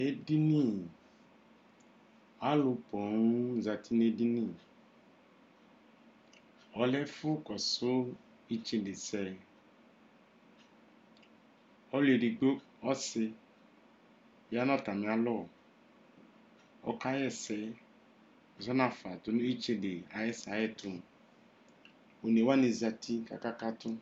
ɛdini, alʋ pɔɔm zati nʋ ɛdini, ɔlɛ ɛƒʋ kɔsʋ itsɛdɛ sɛ ɔlʋ ɛdigbɔ, ɔsii yanʋ atami alɔ ɔka yɛsɛ zɔnʋ aƒa tʋnʋ itsɛdɛ ayɛtʋ, ɔnɛ wani zati kʋ akakatʋ